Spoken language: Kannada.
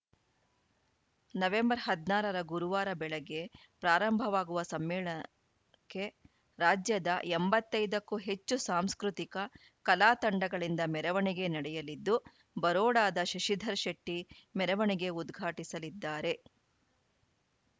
ನವೆಂಬರ್ ಹದಿನಾರ ರ ಗುರುವಾರ ಬೆಳಗ್ಗೆ ಪ್ರಾರಂಭವಾಗುವ ಸಮ್ಮೇಳಕ್ಕೆ ರಾಜ್ಯದ ಎಂಬತ್ತ್ ಐದು ಕ್ಕೂ ಹೆಚ್ಚು ಸಾಂಸ್ಕೃತಿಕ ಕಲಾ ತಂಡಗಳಿಂದ ಮೆರವಣಿಗೆ ನಡೆಯಲಿದ್ದು ಬರೋಡಾದ ಶಶಿಧರ್‌ ಶೆಟ್ಟಿಮೆರವಣಿಗೆ ಉದ್ಘಾಟಿಸಲಿದ್ದಾರೆ